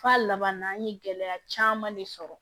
F'a laban na an ye gɛlɛya caman de sɔrɔ